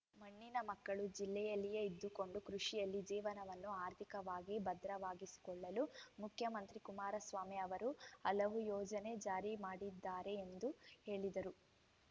ಮಣ್ಣಿನ ಮಕ್ಕಳು ಜಿಲ್ಲೆಯಲ್ಲಿಯೇ ಇದ್ದುಕೊಂಡು ಕೃಷಿಯಲ್ಲಿ ಜೀವನವನ್ನು ಆರ್ಥಿಕವಾಗಿ ಭದ್ರವಾಗಿಸಿಕೊಳ್ಳಲು ಮುಖ್ಯಮಂತ್ರಿ ಕುಮಾರಸ್ವಾಮಿ ಅವರು ಹಲವು ಯೋಜನೆ ಜಾರಿ ಮಾಡಿದ್ದಾರೆ ಎಂದು ಹೇಳಿದರು